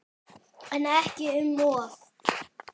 En ekki um of.